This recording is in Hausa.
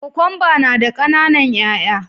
Kokwamba na da kananan 'ya'ya